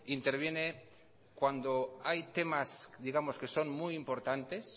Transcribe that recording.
interviene cuando hay temas digamos que son muy importantes